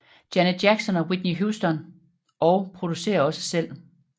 Janet Jackson og Whitney Houston og producerer også selv